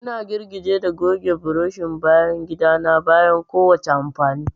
Ina girgije da goge burushin bayan gida na bayan kowace amfani.